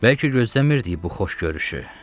Bəlkə gözləmirdik bu xoş görüşü.